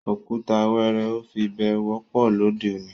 Ọ̀kùtà wẹẹrẹ́ o fi bẹ̀ẹ̀ wọ̀pọ̀ lọdẹ́ ọ̀ní.